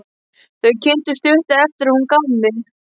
Þau kynntust stuttu eftir að hún gaf mig.